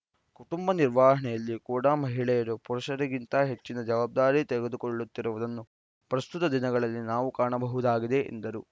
ಕುಟುಂಬ ನಿರ್ವಹಣೆಯಲ್ಲಿ ಕೂಡಾ ಮಹಿಳೆಯರು ಪುರುಷರಿಗಿಂತ ಹೆಚ್ಚಿನ ಜವಾಬ್ದಾರಿ ತೆಗೆದುಕೊಳ್ಳುತ್ತಿರುವುದನ್ನು ಪ್ರಸ್ತುತ ದಿನಗಳಲ್ಲಿ ನಾವು ಕಾಣಬಹುದಾಗಿದೆ ಎಂದರು